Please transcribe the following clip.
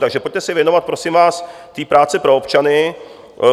Takže pojďte se věnovat, prosím vás, té práci pro občany.